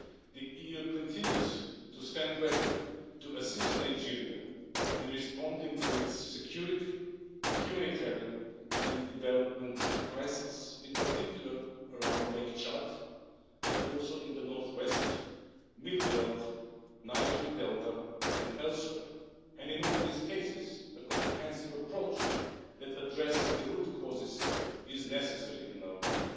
The EU continues to stand ready to assist Nigeria in responding to its security, humanitarian and development crisis, in particular around Lake Chad but also in the north west, Middle Belt, Niger Delta and elsewhere, and in all these cases a comprehensive approach that addresses the root causes is necessary, in our view.